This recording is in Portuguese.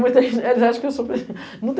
Muita gente acha que eu sou pe muita